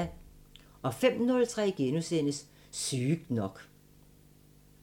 05:03: Sygt nok *